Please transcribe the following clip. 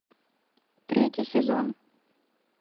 третий сезон